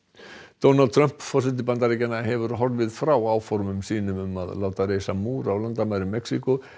Donald Trump forseti Bandaríkjanna hefur horfið frá áformum sínum um að láta reisa múr á landamærum Mexíkó